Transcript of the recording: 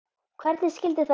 Hvernig skyldi það vera?